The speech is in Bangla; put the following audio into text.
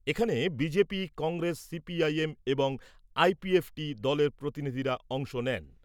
এখানে BJP, Congress, C P I M এবং আই পি এফ টি দলের প্রতিনিধিরা অংশ নেন।